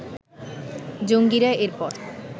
জঙ্গীরা এর পর